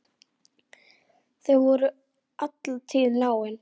Þau voru alla tíð náin.